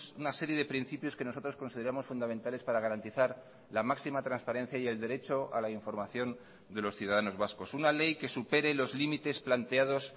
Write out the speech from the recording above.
una serie de principios que nosotros consideramos fundamentales para garantizar la máxima transparencia y el derecho a la información de los ciudadanos vascos una ley que supere los límites planteados